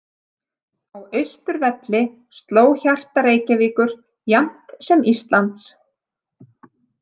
Á Austurvelli sló hjarta Reykjavíkur jafnt sem Íslands.